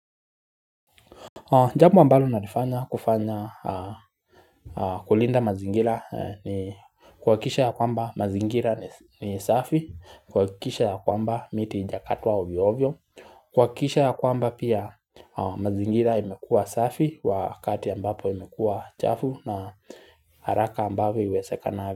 Jambo ambalo nalifanya kufanya kulinda mazingira ni kuhakikisha ya kwamba mazingira ni safi, kuhakikisha ya kwamba miti haijakatwa ovyovyo, kuhakikisha ya kwamba pia mazingira imekuwa safi, wakati ambapo imekua chafu na haraka ambavyo iwezekanavyo.